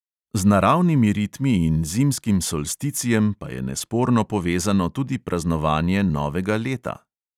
Z naravnimi ritmi in zimskim solsticijem pa je nesporno povezano tudi praznovanje novega leta.